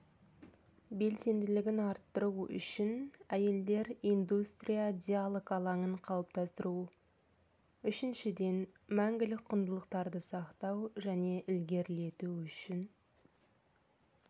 белсенділігін арттыру үшін әйелдер индустрия диалог алаңын қалыптастыру үшіншіден мәңгілік құндылықтарды сақтау және ілгерілету үшін